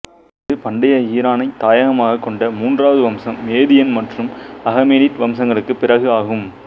இது பண்டைய ஈரானைத் தாயகமாகக் கொண்ட மூன்றாவது வம்சம் மேதியன் மற்றும் அகமேனிட் வம்சங்களுக்குப் பிறகு ஆகும்